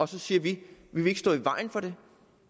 så siger vi vi vil ikke stå i vejen for det